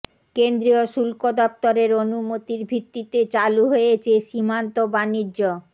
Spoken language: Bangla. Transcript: কেন্দ্রীয় শুল্ক দফতরের অনুমতির ভিত্তিতে চালু হয়েছে সীমান্ত বাণিজ্য